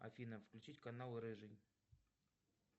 афина включить канал рыжий